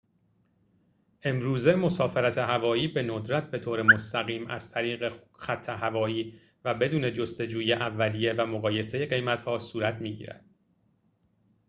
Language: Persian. امروزه مسافرت هوایی به ندرت بطور مستقیم از طریق خط هوایی و بدون جستجوی اولیه و مقایسه قیمت‌ها صورت می‌گیرد